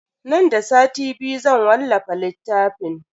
Nan da sati biyu zan wallafa littafin.